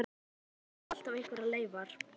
Já, en það eru samt alltaf einhverjar leifar.